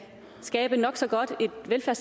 sikre